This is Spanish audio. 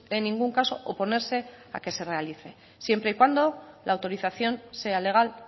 en ningún caso oponerse a que se realice siempre y cuando la autorización sea legal